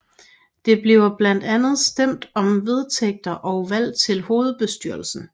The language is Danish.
Der bliver blandt andet stemt om vedtægter og valg til hovedbestyrelsen